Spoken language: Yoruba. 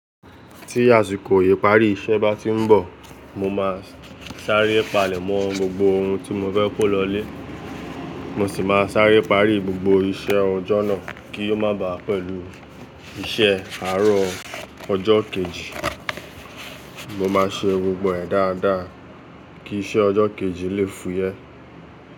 Tí àsìkò ìparí iṣẹ́ bá ti ń bọ̀, mo máa sáré palẹ̀ mọ́ gbogbo ohun tí mo fẹ́ kó lọlé, mo sì máa sáré parí gbogbo iṣẹ́ ọjọ́ náà kí ó má bàá pẹ̀lú iṣẹ́ àárọ̀ ọjọ́ kejì. Mo máa ṣe gbogbo ẹ̀ dáadáa kí iṣẹ́ ọjọ́ kejì lè fúyẹ́